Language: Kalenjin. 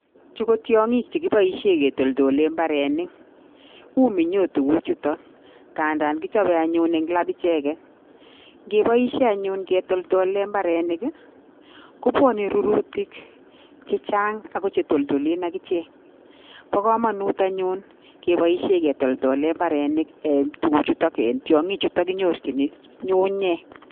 Chu kotiangik chekibaishen ketoldolen imbarenik ako ?minyo korotwek chuton kandan kichope anyun en lap ichegen ngepaishen ichegen ketoldolen imbarenik kobwanen rururtik chechang akochetoldolen akichek bakamanut anyun kebaishen ketoldol kwalen imbarenik tuguk chuton anan tiangik chuton kinyorchin gei